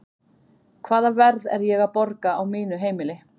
Hvaða verð er ég að borga á mínu heimili?